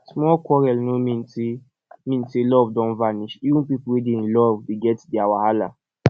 small quarrel no mean say mean say love don vanish even pipo wey dey in love dey get their wahala